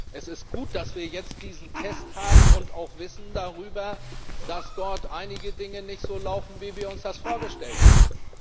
Es ist gut, dass wir jetzt diesen Test haben und auch Wissen darüber, dass dort einige Dinge nicht so laufen, wie wir uns das vorgestellt haben.